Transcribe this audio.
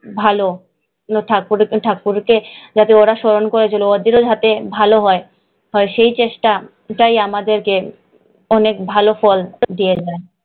ভালো, ঠাকুরকে ঠাকুরকে যাতে ওরা স্মরণ করেছিল ওদেরও যাতে ভালো হয়, সেই চেষ্টা আমাদেরকে অনেক ফল দিয়ে যায়।